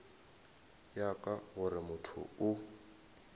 ya ka gore motho o